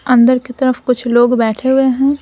अंदर की तरफ कुछ लोग बैठे हुए हैं।